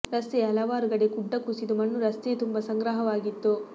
ರಸ್ತೆಯ ಹಲವಾರು ಕಡೇ ಗುಡ್ಡ ಕುಸಿದು ಮಣ್ಣು ರಸ್ತೆಯ ತುಂಬಾ ಸಂಗ್ರಹವಾಗಿತ್ತು